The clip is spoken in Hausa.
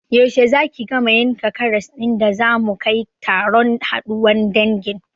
Yaushe zaki gama yankan karas ɗin da zamu kai taron haɗuwan dangin?